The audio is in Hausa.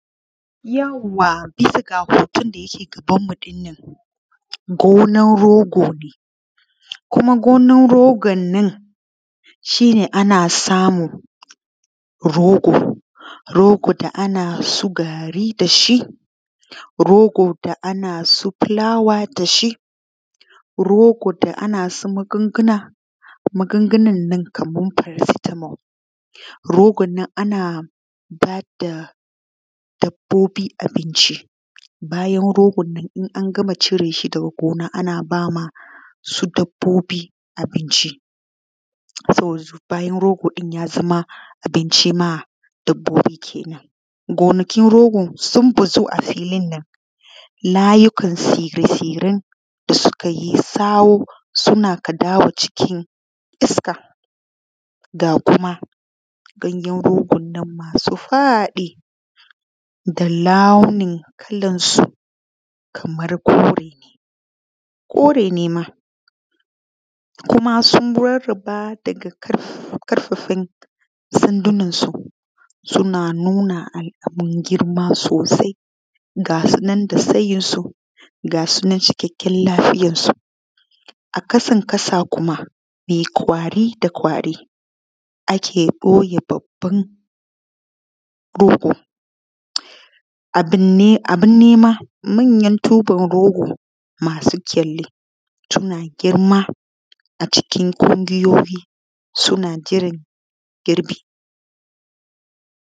Yauwa bisa ga hoton da ke gabanmu ne gonan rogo kuma gonan rogon nan ana samun rogo da ana su gari, rogo da ana su flour da shi, rogo da ana su magunguna magungunan nan kaman su faracitamol, rogo da ana rogon nan ana ba dabbobi abinci. Bayan rogon nan in an gama cire shi daga gona ana ba wasu dabbobi su ci bayan rogo ɗin a ba dabbobi kenan gonakin rogo sun bazu a filin nan, layukan tsire-tsiren da suka yi tsawo suna kaɗawa cikin iska ga kuma ganten rogon nan masu faɗi da launi, kalansu kaman kore-kore ne ma kuma sun ƙarfafa daga sandunansu suna nuna alamon girma sosai ga su nan da tsayinsu ga su nan cikakken lafiyansu a ƙasan ƙasa kuma ya yi kwari ake buye babban rogo abun nema manyan tuber na rogo masu ƙalli suna girma a cikin ƙungiyoyi suna yin girbi.